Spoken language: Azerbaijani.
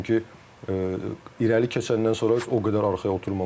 Çünki irəli keçəndən sonra o qədər arxaya oturmamalı idi.